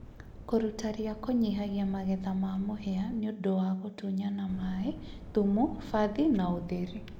kũruta ria kũnyihagia magetha ma mũhĩa nĩũndũ wa gũtunyana maaĩ, thumu, bathi na ũtheri